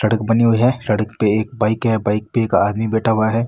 सड़क बनी हुई है सड़क पे एक बाइक है बाइक पे एक आदमी बैठा हुआ है।